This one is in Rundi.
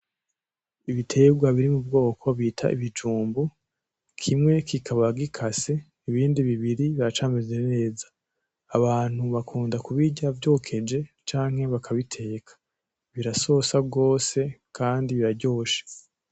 Ibiterwa biri mubwoko bita ibijumbu, kimwe kikaba gikase ibindi bibiri biracameze neza , abantu bakunda kubirya vyokeje canke bakabiteka , birasosa gose Kandi biraryoshe.